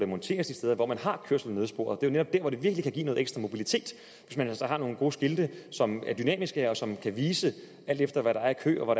monteres de steder hvor man har kørsel i nødsporet det er jo netop der det virkelig kan give noget ekstra mobilitet hvis man altså har nogle gode skilte som er dynamiske og som kan vise alt efter hvad der er af kø og